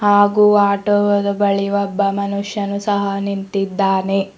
ಹಾಗು ಆಟೋ ವದ್ ಬಳಿ ಒಬ್ಬ ಮನುಷ್ಯನು ಸಹ ನಿಂತಿದ್ದಾನೆ.